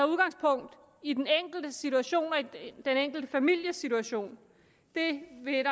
udgangspunkt i den enkeltes situation og den enkelte families situation det vil